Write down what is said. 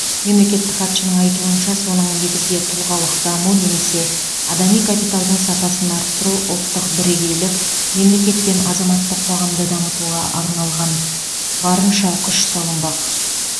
мемлекеттік хатшының айтуынша соның негізде тұлғалық даму немесе адами капиталдың сапасын арттыру ұлттық бірегейлік мемлекет пен азаматтық қоғамды дамытуға арналған барынша күш салынбақ